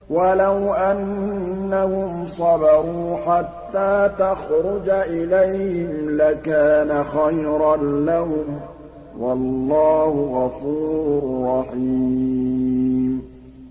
وَلَوْ أَنَّهُمْ صَبَرُوا حَتَّىٰ تَخْرُجَ إِلَيْهِمْ لَكَانَ خَيْرًا لَّهُمْ ۚ وَاللَّهُ غَفُورٌ رَّحِيمٌ